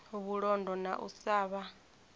vhulondo na u sa vha